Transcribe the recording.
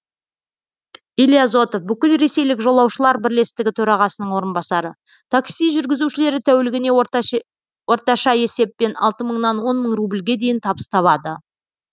илья зотов бүкілресейлік жолаушылар бірлестігі төрағасының орынбасары такси жүргізушілері тәулігіне орташа есеппен алты мыңнан он мың рубльге дейін табыс табады